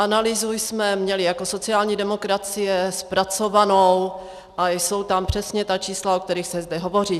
Analýzu jsme měli jako sociální demokracie zpracovanou a jsou tam přesně ta čísla, o kterých se zde hovoří.